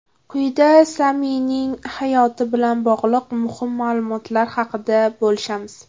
Quyida Samining hayoti bilan bog‘liq muhim ma’lumotlar haqida bo‘lishamiz.